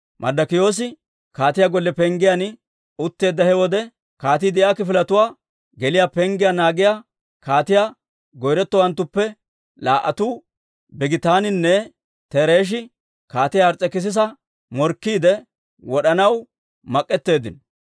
Marddokiyoosi kaatiyaa golle penggiyaan utteedda he wode, kaatii de'iyaa kifiletuwaa geliyaa penggiyaa naagiyaa kaatiyaa goyretowanttuppe laa"atuu, Bigitaaninne Tereshi kaatiyaa Ars's'ekissiisa morkkiide, wod'anaw mak'etteeddinno.